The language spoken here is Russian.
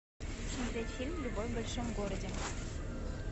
смотреть фильм любовь в большом городе